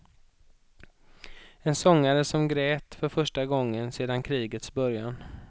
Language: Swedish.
En sångare, som grät för första gången sedan krigets början.